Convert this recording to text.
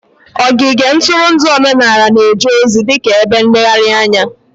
Ogige ntụrụndụ omenala na-eje ozi dị ka ebe nlegharị anya